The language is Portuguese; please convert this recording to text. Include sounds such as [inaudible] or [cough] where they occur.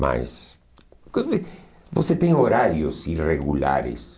Mas você [unintelligible] tem horários irregulares.